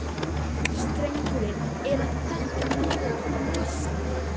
Steggurinn er að fela fyrir okkur lausnina.